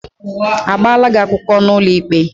Agbala gị akwụkwọ n'ụlọikpe?